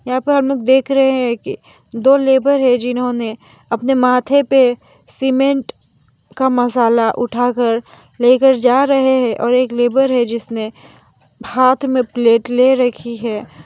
यहां पर हम लोग देख रहे हैं कि दो लेबर है जिन्होंने अपने माथे पे सीमेंट का मसाला उठाकर लेकर जा रहे हैं और एक लेबर है जिसने हाथ में प्लेट ले रखी हैं।